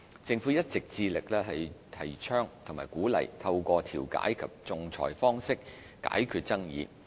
政府一直致力提倡和鼓勵透過調解及仲裁方式解決爭議。